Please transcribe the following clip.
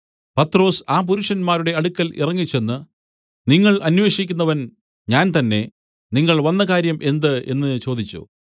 പത്രൊസ് ആ പുരുഷന്മാരുടെ അടുക്കൽ ഇറങ്ങിച്ചെന്ന് നിങ്ങൾ അന്വേഷിക്കുന്നവൻ ഞാൻ തന്നെ നിങ്ങൾ വന്ന കാര്യം എന്ത് എന്നു ചോദിച്ചു